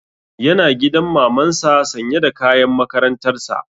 Yana gidan maman sa sanye da kayan makarantar sa